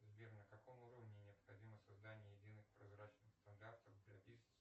сбер на каком уровне необходимо создание единых прозрачных стандартов